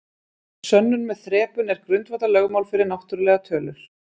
Sönnun með þrepun er grundvallarlögmál fyrir náttúrlegar tölur.